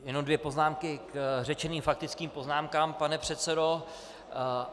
Jenom dvě poznámky k řečeným faktickým poznámkám, pane předsedo.